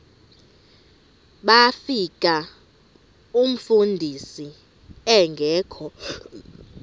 bafika umfundisi engekho